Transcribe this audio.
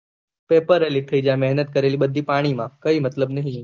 paper એ leak થઇ જાય મેહનત કરેલી પાણી માં કઈ મતલબ નહિ